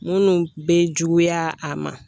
Munnu bɛ juguya a ma